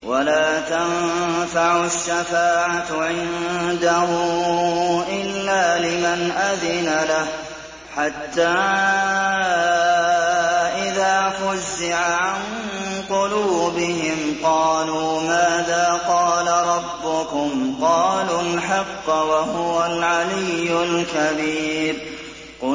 وَلَا تَنفَعُ الشَّفَاعَةُ عِندَهُ إِلَّا لِمَنْ أَذِنَ لَهُ ۚ حَتَّىٰ إِذَا فُزِّعَ عَن قُلُوبِهِمْ قَالُوا مَاذَا قَالَ رَبُّكُمْ ۖ قَالُوا الْحَقَّ ۖ وَهُوَ الْعَلِيُّ الْكَبِيرُ